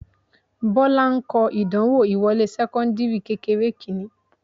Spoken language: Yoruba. Bọ́lá ń kọ ìdánwò ìwọlé sẹ́kọ́ńdìrì kékeré kìíní